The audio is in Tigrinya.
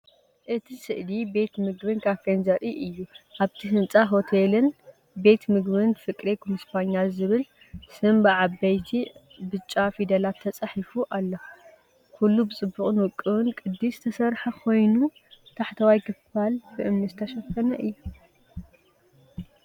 እቲ ስእሊ ቤት ምግቢን ካፈን ዘርኢ እዩ። ኣብቲ ህንጻ “ሆቴልን ቤት ምግብን ፍቅሬ ኩንስፓኛ” ዝብል ስም ብዓበይቲ ብጫ ፊደላት ተጻሒፉ ኣሎ። ኩሉ ብጽቡቕን ውቁብን ቅዲ ዝተሰርሐ ኮይኑ፡ ታሕተዋይ ክፋል ብእምኒ ዝተሸፈነ እዩ።